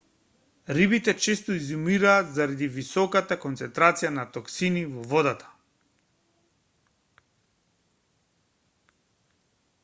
рибите често изумираат заради високата концентрација на токсини во водата